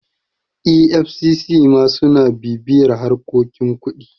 efcc ma suna bibiyar harkokin kuɗi